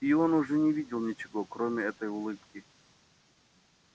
и он уже не видел ничего кроме этой улыбки